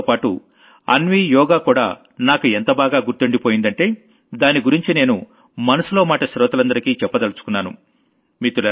అన్వీతోపాటు అన్వీ యోగా కూడా నాకు ఎంత బాగా గుర్తుండిపోయిందంటే దాని గురించి నేను మనసులో మాట శ్రోతలందరికీ చెప్పదలచుకున్నాను